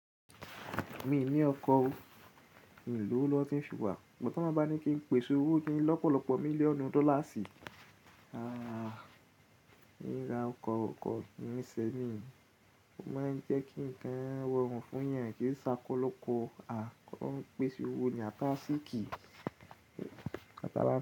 Mi ò ní ọkọ̀ o, mi ò ní owó lọ́wọ́ tín fi rà. Ọ̀tọ́ má ba ní kí n pèsè owó kí n lọ́pọ̀lọ́pọ̀ mílíọ̀nù dọ́llars aah! Ni ra ọkọ̀ ní ìṣẹ́ mi. Ó máa ń jẹ́ kí ǹkan rọrùn fún èyàn lọ́pọ̀lọpọ̀. Aah! Kí olóhun pèsè owó ni atinariṣíkì.